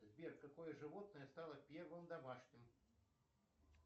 сбер какое животное стало первым домашним